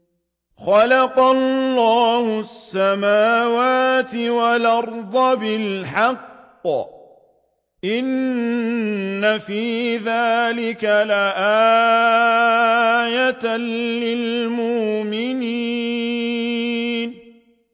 خَلَقَ اللَّهُ السَّمَاوَاتِ وَالْأَرْضَ بِالْحَقِّ ۚ إِنَّ فِي ذَٰلِكَ لَآيَةً لِّلْمُؤْمِنِينَ